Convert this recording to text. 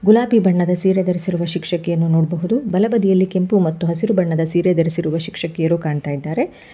ಗುಲಾಬಿ ಬಣ್ಣದ ಸೀರೆ ಧರಿಸರುವ ಶಿಕ್ಷಕಿಯನ್ನು ನೋಡಬಹುದು ಬಲಬದಿಯಲ್ಲಿ ಕೆಂಪು ಮತ್ತು ಹಸಿರು ಬಣ್ಣದ ಸೀರೆ ಧರಿಸಿರುವ ಶಿಕ್ಷಕಿಯರು ಕಾಣ್ತಾ ಇದ್ದಾರೆ.